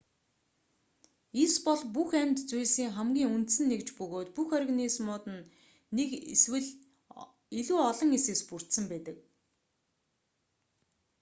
эс бол бүх амьд зүйлсийн хамгийн үндсэн нэгж бөгөөд бүх организмууд нь нэг эсвэл илүү олон эсээс бүрдсэн байдаг